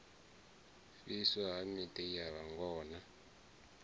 fhiswa ha miḓi ya vhangona